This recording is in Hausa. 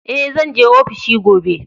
E, zan je ofishi gobe.